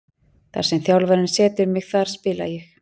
Þar sem þjálfarinn setur mig þar spila ég.